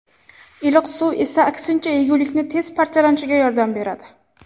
Iliq suv esa aksincha, yegulikni tez parchalanishiga yordam beradi.